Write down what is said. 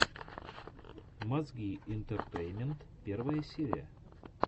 мозги интертеймент первая серия